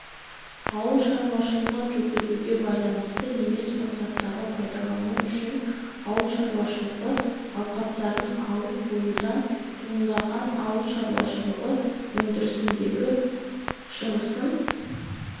ауыл шаруашылығын жүргізуге байланысты емес мақсаттарға пайдалану үшін ауыл шаруашылығы алқаптарын алып қоюдан туындаған ауыл шаруашылығы өндірісіндегі шығасыны